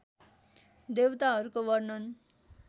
देवताहरूको वर्णन